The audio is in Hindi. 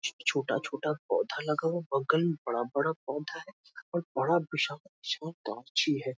छोटा-छोटा पौधा लगा हुआ है बगल में बड़ा बड़ा पौधा है और बड़ा विशाल गाछी है |